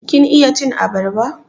Kin iya cin abarba?